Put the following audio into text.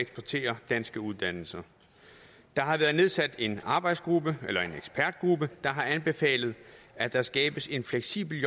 eksportere danske uddannelser der har været nedsat en arbejdsgruppe eller ekspertgruppe der har anbefalet at der skabes en fleksibel